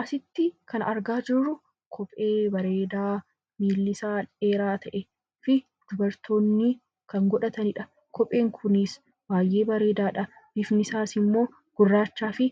Asitti kan argaa jirru kophee bareedaa koomeen isaa dheeraa ta'ee fi dubartoonni kan godhatanidha. Bifni isaas immoo gurraachaa fi